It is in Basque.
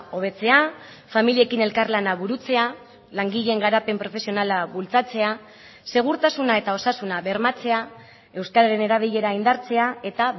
hobetzea familiekin elkarlana burutzea langileen garapen profesionala bultzatzea segurtasuna eta osasuna bermatzea euskararen erabilera indartzea eta